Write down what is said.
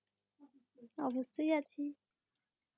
অবশ্যই আছি